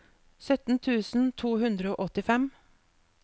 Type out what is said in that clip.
sytten tusen to hundre og åttifem